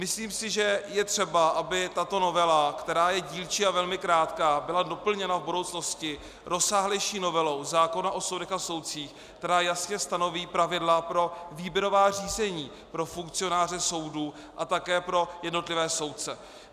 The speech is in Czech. Myslím si, že je třeba, aby tato novela, která je dílčí a velmi krátká, byla doplněna v budoucnosti rozsáhlejší novelou zákona o soudech a soudcích, která jasně stanoví pravidla pro výběrová řízení pro funkcionáře soudů a také pro jednotlivé soudce.